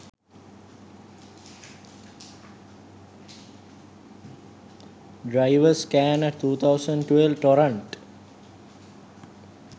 driver scanner 2012 torrent